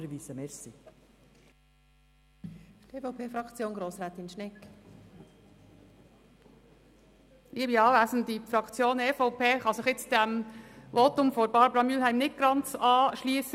Die EVP-Fraktion kann sich diesem Votum von Barbara Mühlheim nicht ganz anschliessen.